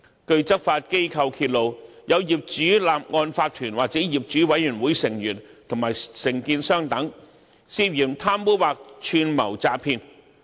據執法機構揭露，有業主立案法團或業主委員會成員和承建商等，涉嫌貪污或串謀詐騙。